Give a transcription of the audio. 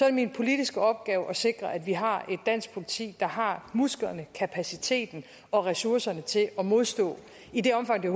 det min politiske opgave at sikre at vi har et dansk politi der har musklerne kapaciteten og ressourcerne til at modstå i det omfang det